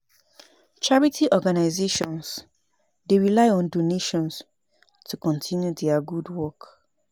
Charity organizations dey rely on donations to continue dia gud wok.